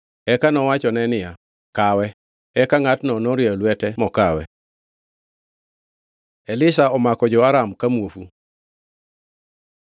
Eka nowachone niya, “Kawe.” Eka ngʼatno norieyo lwete mokawe. Elisha omako jo-Aram ka muofu